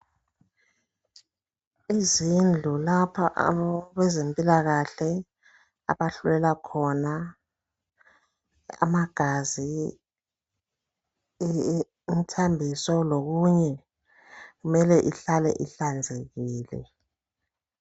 Izindlu lapha abezempilakahle abahlolela khona amagazi, imithambiso lokunye. Mele ihlale ihlanzekile.